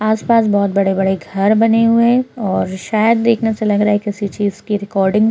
आस-पास बहोत बड़े-बड़े घर बने हुए हैं और शायद देखने से लग रहा है किसी चीज की रिकॉर्डिंग्स --